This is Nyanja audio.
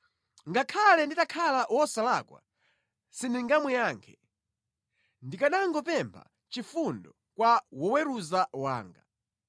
Ngakhale nditakhala wosalakwa, sindingamuyankhe; ndikanangopempha chifundo kwa woweruza wanga.